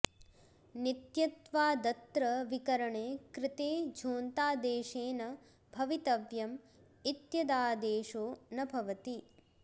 नित्यत्वादत्र विकरणे कृते झो ऽन्तादेशेन भवितव्यम् इत्यदादेशो न भवति